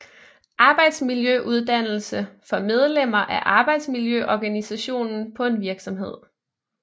Arbejdsmiljøuddannelse for medlemmer af arbejdsmiljøorganisationen på en virksomhed